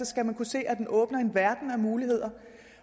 skal man kunne se at den åbner en verden af muligheder